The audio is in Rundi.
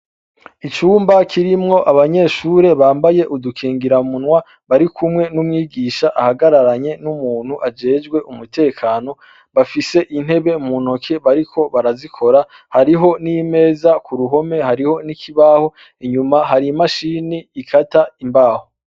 Icumba kirimwo abanyeshure bambaye udukingira munwa bari kumwe n'umwigisha ahagararanye n'umuntu ajejwe umutekano bafise intebe munoke bariko barazikora hariho n'imeza ku ruhome hariho n'ikibaho inyuma hari imashini ikata imbaho.